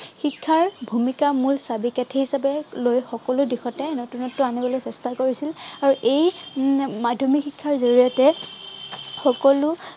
শিক্ষাৰ ভূমিকাৰ মূল চাবি-কাঠি হিচাপে লৈ সকলো দিশতে নতুনত্ব আনিবলৈ চেষ্টা কৰিছিল আৰু এই উম মাধ্য়মিক শিক্ষাৰ জড়িয়তে সকলো